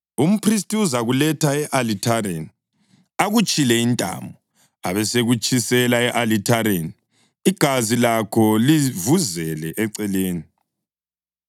Umphristi uzakuletha e-alithareni, akutshile intamo, abesekutshisela e-alithareni, igazi lakho livuzele eceleni.